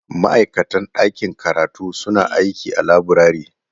Ma'aikatan ɗakin karatu suna aiki a laburare.